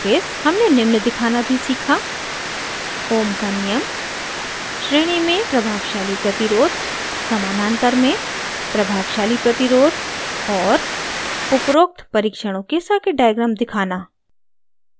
हमने निम्न दिखाना भी सीखा: